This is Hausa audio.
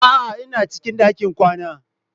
A'a, ina cikin ɗakin kwana.